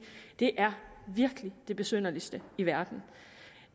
det er virkelig det besynderligste i verden